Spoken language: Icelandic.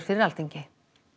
fyrir Alþingi